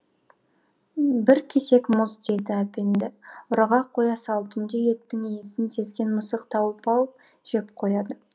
бір кесек мұз дейді әпенді ұраға қоя сал түнде еттің иісін сезген мысық тауып алып жеп қояды